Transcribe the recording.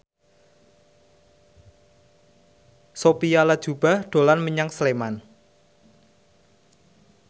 Sophia Latjuba dolan menyang Sleman